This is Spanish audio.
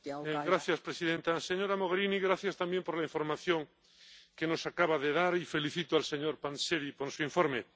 Señora presidenta, señora Mogherini, gracias también por la información que nos acaba de dar, y felicito al señor Panzeri por su informe.